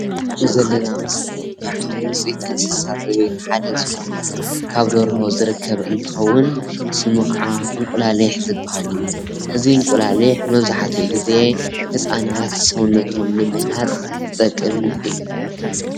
እዚ ንርኦ ዘለና ምስሊ ካብቶም ውፂኢት እንስሳ ዘቤት ሓደ ዝኾነ ካብ ደርሆ ዝርከብ እንትከውን ስሙ ካኣ እንቁላሊሕ ዝባሃል እዩ። እዚ እንቁላሊሕ መብዛሕቲኡ ግዜ ህፃናት ሰውነቶም ንምህናፅ ዝጠቅም እዩ።